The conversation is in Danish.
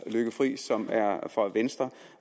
lykke friis som er fra venstre